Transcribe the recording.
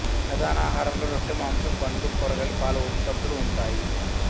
ప్రధాన ఆహారంలో రొట్టె మాంసం పండ్లు కూరగాయలు పాల ఉత్పత్తులు ఉంటాయి